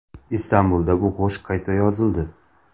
Istanbulda bu qo‘shiq qayta yozildi.